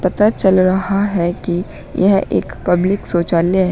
पता चल रहा है कि यह एक पब्लिक शौचालय है।